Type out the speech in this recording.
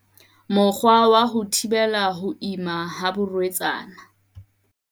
Mokgwa wa ho thibela ho ima ha barwetsana